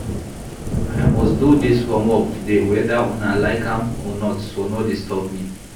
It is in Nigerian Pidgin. I must do dis homework today whether una like am or not so no disturb me